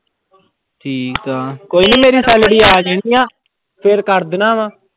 ਠੀਕ ਆ, ਕੋਈ ਨੀ ਮੇਰੀ salary ਆ ਜਾਣੀ ਆਂ, ਫਿਰ ਕਰ ਦੇਣਾ ਵਾਂ।